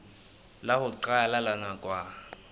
la ho qala la nakwana